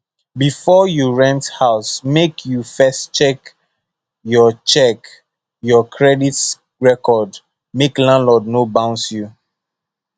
before you rent house make you first check your check your credit record make landlord no bounce you